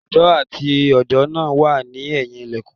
Ọmọ odó àti odó náà wà ní ẹ̀yìn ilẹ̀kùn